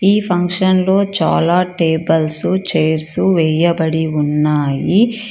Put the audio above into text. ఈ ఫంక్షన్ లో చాలా టేబుల్స్ చైర్స్ వేయబడి ఉన్నాయి.